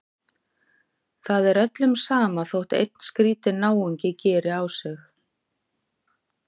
Það er öllum sama þótt einn skrýtinn náungi geri á sig.